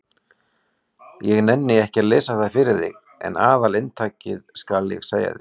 Ég nenni ekki að lesa það fyrir þig en aðalinntakið skal ég segja þér.